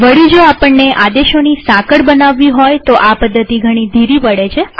વળી જો આપણને આદેશોની સાંકળ બનાવવી હોય તોઆ પદ્ધતિ ઘણી ધીરી પડે છે